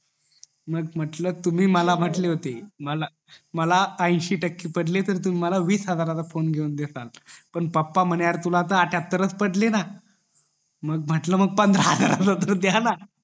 म्हंटल तुम्ही मला म्हंटले होते मला ऐंशी टक्के पडले तर तुम्ही मला वीस हजाराचा फोन घेऊन देताना पण पप्पा म्हणे तुला आठाहातार च पडले ना मग म्हटलं पंधरा हजारा चा तरी द्या ना